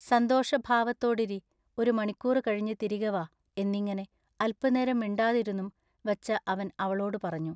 സന്തോഷ ഭാവത്തോടിരി ഒരു മണിക്കൂറു കഴിഞ്ഞു തിരികെ വാ എന്നിങ്ങിനെ അല്പനേരം മിണ്ടാതിരുന്നും വച്ച അവൻ അവളോടു പറഞ്ഞു.